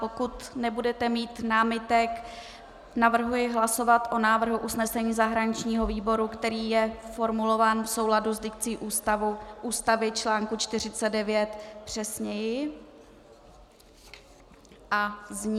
Pokud nebudete mít námitek, navrhuji hlasovat o návrhu usnesení zahraničního výboru, který je formulován v souladu s dikcí Ústavy čl. 49 přesněji a zní: